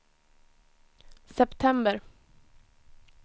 september